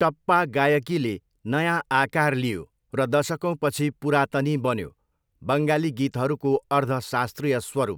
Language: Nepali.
टप्पा गायकीले नयाँ आकार लियो र दशकौँपछि पुरातानी बन्यो, बङ्गाली गीतहरूको अर्ध शास्त्रीय स्वरूप।